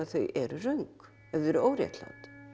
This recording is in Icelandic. þau eru röng ef þau eru óréttlát